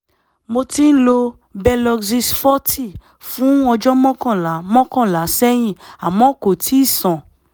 mo ti ń lo belosix forty fún ọjọ́ mọ́kànlá mọ́kànlá sẹ́yìn àmọ́ kò tíì sàn